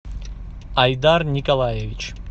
айдар николаевич